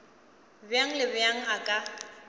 bjang le bjang a ka